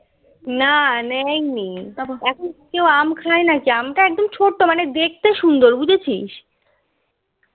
না নাই নি এখন কেউ আম খাই নাকি এখন তো আম তা ছোট্ট মানে দেখতে সুন্দর বুঝেছিস